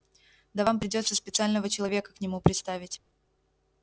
да вам придётся специального человека к нему приставить